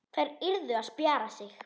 Þær yrðu að spjara sig.